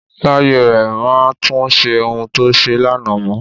Láyé rẹ, má tun ṣe ohun to ṣe lánàá mọ.